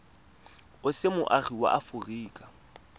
o se moagi wa aforika